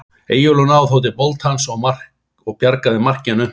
Eyjólfur náði þó til boltans og bjargaði marki en naumt var það.